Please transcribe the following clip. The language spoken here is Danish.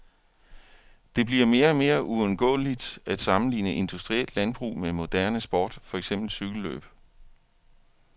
Det bliver mere og mere uundgåeligt at sammenligne industrielt landbrug med moderne sport, for eksempel cykellløb.